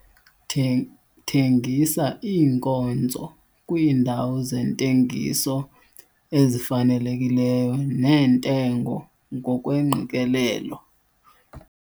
Thengisa iinkonzo kwiindawo zentengiso ezifanelekileyo neentengo ngokweengqikelelo